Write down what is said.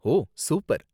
ஓ, super.